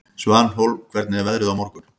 Svanhólm, hvernig er veðrið á morgun?